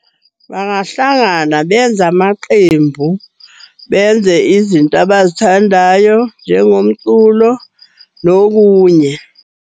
Bangahlangana benza amaqembu, benze izinto abazithandayo njengomculo nokunye.